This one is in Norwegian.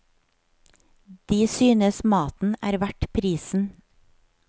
De synes maten er verdt prisen.